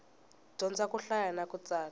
dyondza ku hlaya na ku tsala